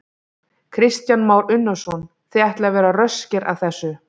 Kristján Már Unnarsson: Þið ætlið að vera röskir að þessu?